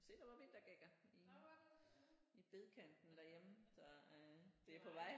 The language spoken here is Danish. Se der var vintergækker i i bedkanterne derhjemme så øh det er på vej